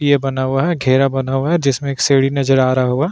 ये बना हुआ है घेरा बना हुआ है जिसमें एक सीडी नज़र आरा होगा।